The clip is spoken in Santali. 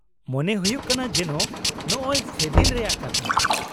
ᱢᱚᱱᱮ ᱦᱩᱭᱩᱜ ᱠᱟᱱᱟ ᱡᱮᱱᱚ ᱱᱚᱜᱼᱚᱭ ᱥᱮᱫᱤᱱ ᱨᱮᱭᱟᱜ ᱠᱟᱛᱷᱟ ᱾